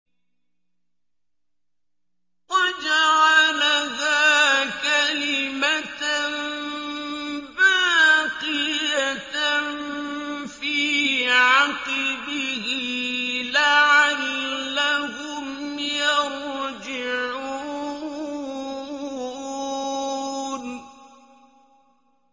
وَجَعَلَهَا كَلِمَةً بَاقِيَةً فِي عَقِبِهِ لَعَلَّهُمْ يَرْجِعُونَ